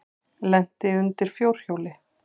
Lenti undir fjórhjóli